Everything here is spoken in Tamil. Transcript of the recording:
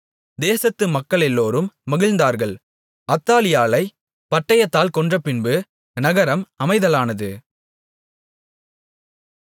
தேசத்து மக்களெல்லோரும் மகிழ்ந்தார்கள் அத்தாலியாளைப் பட்டயத்தால் கொன்றபின்பு நகரம் அமைதலானது